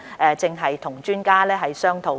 我們正與專家商討。